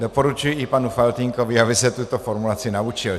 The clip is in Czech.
Doporučuji i panu Faltýnkovi, aby se tuto formulaci naučil.